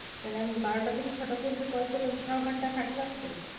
তাহলে আমি বারোটা থেকে ছটা পর্যন্ত call করলাম। ছয় ঘন্টা খাটলাম তো।